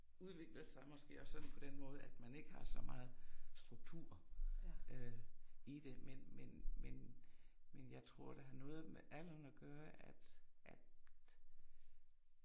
Udvikler sig måske også sådan på den måde så man ikke har så meget struktur øh i det men men men men jeg tror det har noget med alderen at gøre at at